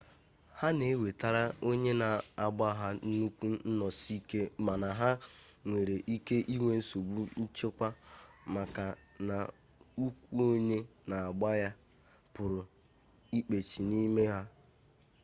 ha na-ewetara onye na-agba ha nnukwu nnọsi ike mana ha nwere ike inwe nsogbu nchekwa maka na ụkwụ onye na-agba ya pụrụ ịkpachi n'ime ha